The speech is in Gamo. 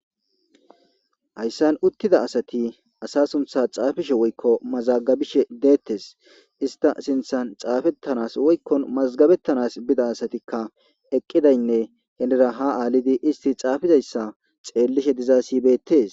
Hayssan uttida asati asa suntha xaafishe woykko mazagabishe deettes ista sinthan xaafettanas woykkon mazgabettanas bida asatikka eqqidaynne henera ha aalidi isti xaafizayssa xeellishe diza sibeettees.